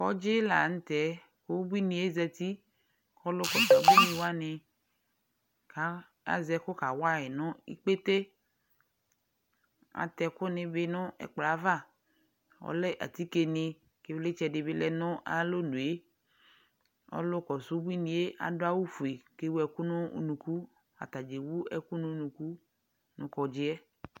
Kɔŋdzɩ la nʋtɛ k'ubuinɩe zati : k'ɔlʋ kɔsʋ ubuinɩ wanɩ a azɛkʋ kawa yɩ nʋ ikpete Atɛkʋnɩ bɩ nʋ ɛkplɔaava ; ɔlɛ atikenɩ, k'ɩvlɩtsɛdɩ bɩ lɛ nʋ alonue Ɔlʋ kɔsʋ ubuinɩe adʋ awʋfue , k'ewu ɛkʋ nʋ unuku; atabɩ ewu ɛkʋ n'unuku nʋ kɔŋdzɩɛ